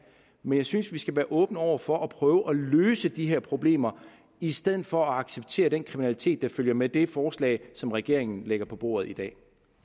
men jeg synes at vi skal være åbne over for at prøve at løse de her problemer i stedet for at acceptere den kriminalitet der følger med det forslag som regeringen lægger på bordet i dag